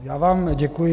Já vám děkuji.